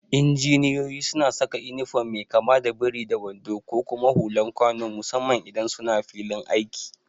Injiniyoyi suna saka inifom mai kama da biri da wando da kuma hulan kwano musamman idan suna filin aiki.